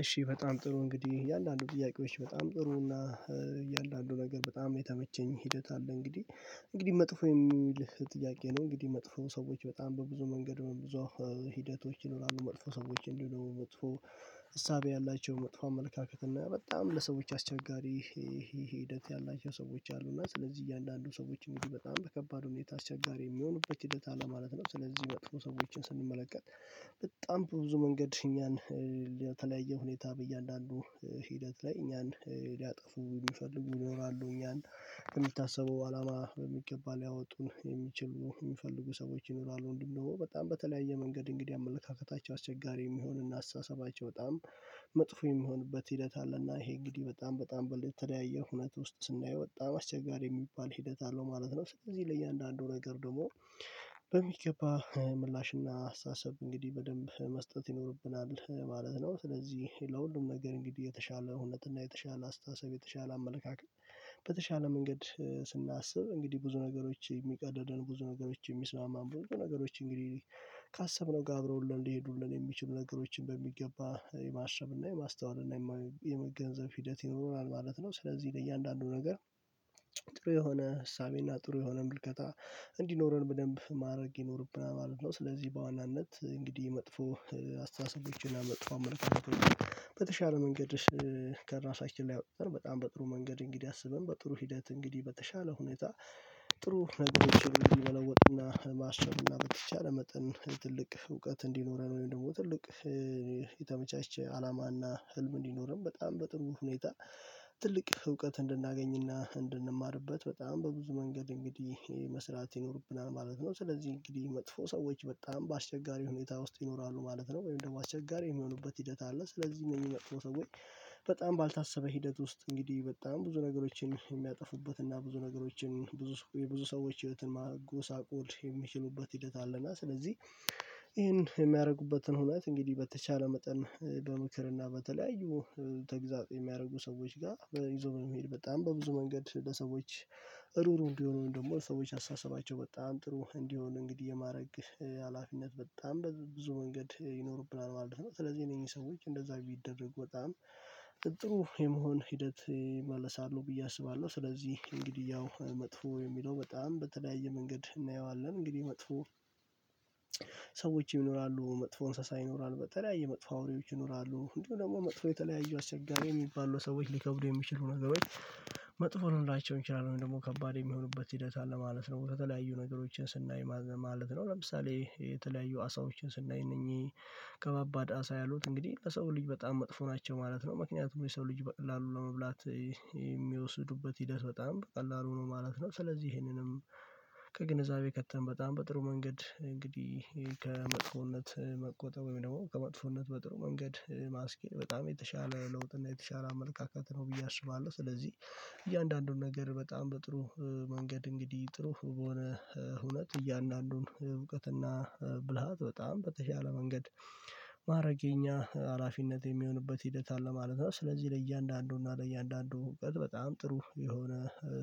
እሺ በጣም ጥሩ እንግዲህ እያንዳንዱ ጥያቄዎች በጣም ጥሩ እና እያንዳንዱ ነገር በጣም የተመቸኝ ሂደት አለ እንግዲህ። እንግዲህ መጥፎ የሚል ጥያቄ ነው። እንግዲህ መጥፎ ሰዎች በጣም በብዙ መንገድ ብዙ ሂደቶች መጥፎ ሰዎች እንድሆኑ መጥፎ እሳቤ ያላቸው መጥፎ አመለካከት እና በጣም ለሰዎች አስቸጋሪ ሂደት ያላቸው ሰዎች አሉ እና ስለዚህ እያንዳንዱ ሰዎች እንግዲህ በጣም በከባድ ሁኔታ አስቸጋሪ የሚሆኑበት ሂደት አለ ማለት ነው። ስለዚህ መጥፎ ሰዎችን ስንመለከት በጣም ብዙ መንገድ እኛን ለተለያየ ሁኔታ በእያንዳንዱ ሂደት ላይ እኛን ሊያጠፉ የሚፈልጉ ይኖራሉ እኛን ከምታሰበው አላማ በሚገባ ሊያወጡን የሚችሉ የሚፈልጉ ሰዎች ይኖራሉ። እንደው በጣም በተለያየ መንገድ እንግዲህ አመለካከታቸው አስቸጋሪ የሚሆንና አስተሳሰባቸው በጣም መጥፎ የሚሆንበት ሂደት አለና ይሄ እንግዲህ በጣም በጣም በተለያየ ሁነት ውስጥ ስናየው በጣም አስቸጋሪ የሚባል ሂደት አለው ማለት ነው። ስለዚህ ለእያንዳንዱ ነገር ደግሞ በሚገባ ምላሽና አስተሳሰብ እንግዲህ በደንብ መስጠት ይኖርብናል ማለት ነው። ስለዚህ ለሁሉም ነገር እንግዲህ የተሻለ እዉነት እና የተሻለ አስተሳሰብ የተሻለ አመለካከት በተሻለ መንገድ ስናስብ እንግዲህ ብዙ ነገሮች የሚቀደደን ብዙ ነገሮች የሚስማማን ብዙ ነገሮች እንግዲህ ካሰብነው ጋር አብረውልን ሊሄዱልን የሚችሉ ነገሮችን በሚገባ የማሰብና የማስተዋልና የመገንዘብ ሂደት ይኖራል ማለት ነው። ስለዚህ ለእያንዳንዱ ነገር የሆነ ዕሳቤና ጥሩ የሆነ ምልከታ እንዲኖረን በደንብ ማድረግ ይኖርብናል ማለት ነው። ስለዚህ በዋናነት እንግዲህ መጥፎ አስተሳሰቦችንና መጥፎ አመለካከት በተሻለ መንገድ ከራሳችን ላይ ወጥተን በጣም በጥሩ መንገድ እንግዲህ አስበን በጥሩ ሂደት እንግዲህ በተሻለ ሁኔታ ጥሩ ነገሮችን መለወጥና ማሰብና በተቻለ መጠን ትልቅ እውቀት እንዲኖረን ወይም ደግሞ ትልቅ የተመቻቸ ዓላማና ህልም እንዲኖርም በጣም በጥሩ ሁኔታ ትልቅ እውቀት እንድናገኝና እንድንማርበት በጣም በብዙ መንገድ እንግዲህ መስራት ይኖርብናል ማለት ነው። ስለዚህ እንግዲህ መጥፎ ሰዎች በጣም በአስቸጋሪ ሁኔታ ውስጥ ይኖራሉ ማለት ነው። ወይም ደግሞ አስቸጋሪ የሚሆኑበት ሂደት አለ። ስለዚህ እነዚህ ሰዎች በጣም ባልታሰበ ሂደት ውስጥ እንግዲህ በጣም ብዙ ነገሮችን የሚያጠፉበት እና ብዙ ነገሮችን ብዙ የብዙ ሰዎች ህይወትን ማጎሳቆል የሚችሉበት ሂደት አለና ስለዚህ ይሄን የሚያደርጉበትን ሁነት እንግዲህ በተቻለ መጠን በምክርና በተለያዩ ተግዛፅ የሚያረጉ ሰዎች ጋር ይዞ በመሄድ በጣም በብዙ መንገድ ለሰዎች ሩሩ እንዲሆኑ ደግሞ ሰዎች አሳሰባቸው በጣም ጥሩ እንዲሆን እንግዲህ የማረግ ሀላፊነት በጣም ብዙ መንገድ ይኖርብናል ማለት ነው። ስለዚህ እነኝህ ሰዎች እንደዛ ቢደረጉ በጣም ጥሩ የመሆን ሂደት ይመለሳሉ ብዬ አስባለሁ። ስለዚህ እንግዲህ ያው መጥፎ የሚለው በጣም በተለያየ መንገድ እናየዋለን። እንግዲህ መጥፎ ሰዎች ይኖራሉ። መጥፎ እንስሳ ይኖራል። በተለያየ መጥፎ አውሬዎች ይኖራሉ። እንዲሁ ደግሞ መጥፎ የተለያዩ አስቸጋሪ የሚባሉ ሰዎች ሊከብዱ የሚችሉ ነገሮች መጥፎ ልንላቸው እንችላለን ደግሞ ከባድ የሚሆኑበት ሂደት አለ ማለት ነው። በተለያዩ ነገሮችን ስናይ ማለት ነው። ለምሳሌ የተለያዩ አሣዎችን ስናይ እነኚህ ከባባድ ዓሣ ያሉት እንግዲህ ለሰው ልጅ በጣም መጥፎ ናቸው ማለት ነው። ምክንያቱም የሰው ልጅ በቀላሉ ለመብላት የሚወስዱበት ሂደት በጣም በቀላሉ ነው ማለት ነው ስለዚህ ይሄንንም ከግንዛቤ ከተን በጣም በጥሩ መንገድ እንግዲህ ከመጥፎነት መቆጠብ ወይም ደግሞ ከመጥፎነት በጥሩ መንገድ ማስኬድ በጣም የተሻለ ለውጥ እና የተሻለ አመለካከት ነው ብዬ አስባለሁ። ስለዚህ እያንዳንዱን ነገር በጣም በጥሩ መንገድ እንግዲህ ጥሩ በሆነ እውነት እያንዳንዱን እውቀትና ብልሃት በጣም በተሻለ መንገድ ማረግ የኛ ሀላፊነት የሚሆንበት ሂደት አለ ማለት ነው። ስለዚህ ለእያንዳንዱ እና ለእያንዳንዱ በጣም ጥሩ የሆነ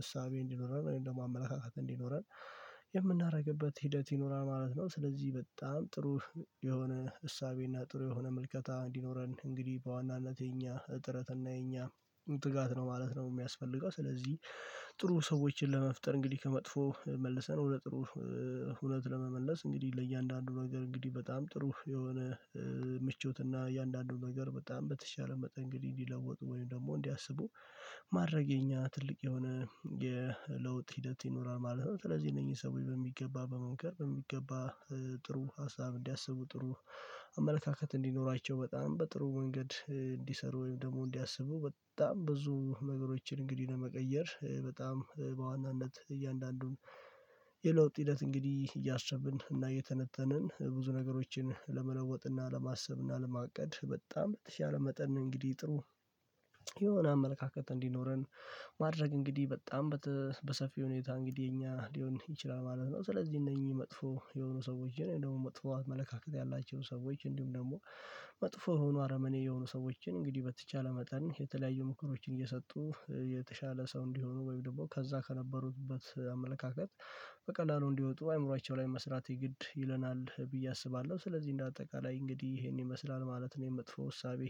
ዕሳቤ እንዲኖረን ወይም ደግሞ አመለካከት እንዲኖረን የምናደርግበት ሂደት ይኖራል ማለት ነው። ስለዚህ በጣም ጥሩ የሆነ ዕሳቤና ጥሩ የሆነ ምልከታ እንዲኖረን እንግዲህ በዋናነት የኛ እጥረት እና የኛ ትጋት ነው ማለት ነው የሚያስፈልገው። ስለዚህ ጥሩ ሰዎችን ለመፍጠር እንግዲህ ከመጥፎ መልሰን ወደ ጥሩ ሁነት ለመመለስ እንግዲህ ለእያንዳንዱ ነገር እንግዲህ በጣም ጥሩ የሆነ ምቾትና እያንዳንዱን ነገር በጣም በተቻለ መጠን እንግዲህ እንዲለወጡ ወይም ደግሞ እንዲያስቡ ማድረግ የኛ ትልቅ የሆነ የለውጥ ሂደት ይኖራል ማለት ነው። ስለዚህ እነኚህ ሰዎች በሚገባ በመምከር በሚገባ ጥሩ ሀሳብ እንዲያስቡ ጥሩ አመለካከት እንዲኖራቸው በጣም በጥሩ መንገድ እንዲሰሩ ወይም ደግሞ እንዲያስቡ በጣም ብዙ ነገሮችን እንግዲህ ለመቀየር በጣም በዋናነት እያንዳንዱን የለውጥ ሂደት እንግዲህ እያሰብን እና እየተነተንን ብዙ ነገሮችን ለመለወጥ እና ለማሰብ እና ለማቀድ በጣም በተሻለ መጠን ነው እንግዲህ ጥሩ የሆነ አመለካከት እንዲኖረን ማድረግ እንግዲህ በጣም በታ በሰፊው ሁኔታ እንግዲህ የኛ ሊሆን ይችላል ማለት ነው። ስለዚህ እነኚህ መጥፎ የሆኑ ሰዎችን እንዲሁም ደግሞ መጥፎ አመለካከት ያላቸው ሰዎች እንዲሁም ደግሞ መጥፎ ሆኖ አረመኔ የሆኑ ሰዎችን እንግዲህ በተቻለ መጠን የተለያዩ ምክሮችን እየሰጡ የተሻለ ሰው እንዲሆኑ ወይም ደግሞ ከዛ ከነበሩበት አመለካከት በቀላሉ እንዲወጡ አእምሮአቸው ላይ መስራት የግድ ይለናል ብዬ አስባለሁ። ስለዚህ እንደ አጠቃላይ እንግዲህ ይሄን ይመስላል ማለት ነው የመጥፎ እሳቤ